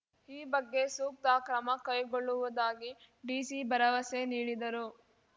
ಈ ಬಗ್ಗೆ ಸೂಕ್ತ ಕ್ರಮ ಕೈಗೊಳ್ಳುವುದಾಗಿ ಡಿಸಿ ಭರವಸೆ ನೀಡಿದರು